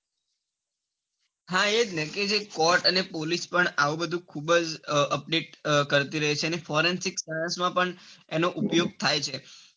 હા એજ ને જે court અને police પણ બૌ અપીલ કરતી રહી છે અને forensic માં પણ એનો ઉપયોગ થાય છે.